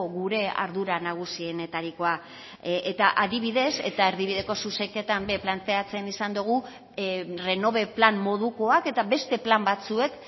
gure ardura nagusienetarikoa eta adibidez eta erdibideko zuzenketan ere planteatzen izan dogu renove plan modukoak eta beste plan batzuek